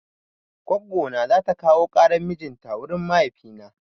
Goggo na zata kawo ƙaran mijin ta wurin mahaifina.